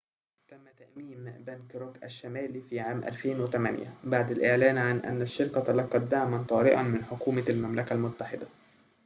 تم تأميم بنك روك الشمالي في عام 2008 بعد الإعلان عن أن الشركة تلقت دعماً طارئاً من حكومة المملكة المتحدة